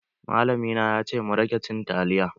Malami na ya ce mu rage cin taliya.